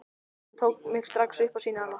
Hann tók mig strax upp á sína arma.